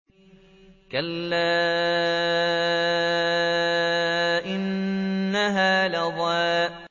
كَلَّا ۖ إِنَّهَا لَظَىٰ